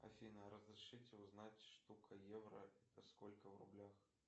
афина разрешите узнать штука евро это сколько в рублях